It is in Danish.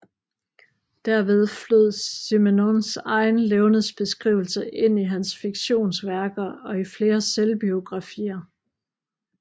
Derved flød Simenons egen levnedsbeskrivelse ind i hans fiktionsværker og i flere selvbiografier